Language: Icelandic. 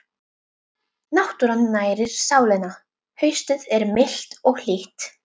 Náttúran nærir sálina Haustið er milt og hlýtt.